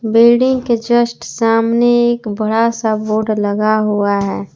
Building के just सामने एक बड़ा सा बोर्ड लगा हुआ है।